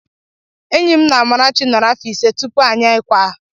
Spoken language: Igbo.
Enyi mụ na Amarachi nọrọ áfọ̀ ịse tupu anyị ekwaa.